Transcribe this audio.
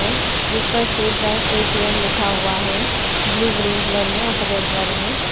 जिस पर State Bank ATM लिखा हुआ है ब्लू ग्रीन कलर में और सफेद कलर में।